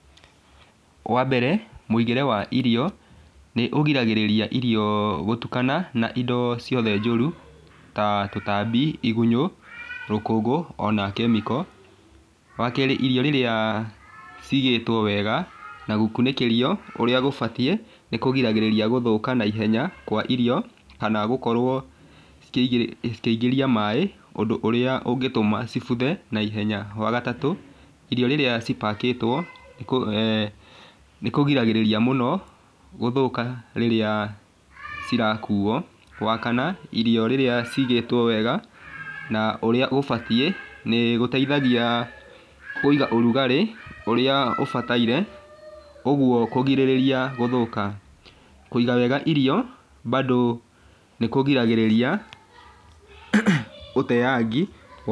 Wa mbere mũigĩre wa irio nĩũgiragĩrĩria irio gũtukana na indo ciothe njũru ta tũtambi, igunyũ, rũkũngũ ona chemical, wa kerĩ irio rĩrĩa cigĩtwo wega na gũkunĩkĩrio ũrĩa gũbatiĩ nĩkũgiragĩrĩria gũthũka naihenya kwa irio, kana gũkorwo cikĩi cĩkĩingĩria maĩ, ũndũ ũrĩa ũngĩtũma cibuthe naihenya, wa gatatũ rĩrĩa cipakĩtwo nĩkũ eeh nĩkũgiragĩrĩria mũno gũthũka rĩrĩa cirakuo, wakana irio rĩrĩa cigĩtwo wega na ũrĩa ũbatiĩ, nĩgũteithagia kũiga ũrugarĩ ũrĩa ũbataire ũguo kũgirĩrĩria gũthũka, kũiga wega irio bado nĩkũgiragĩrĩria ũteangi...